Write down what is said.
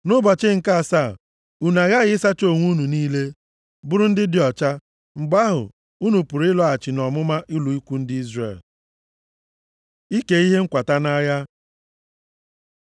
Nʼụbọchị nke asaa, unu aghaghị ịsacha uwe unu niile, bụrụ ndị dị ọcha. Mgbe ahụ, unu pụrụ ịlọghachi nʼọmụma ụlọ ikwu ndị Izrel.” Ike ihe nkwata nʼagha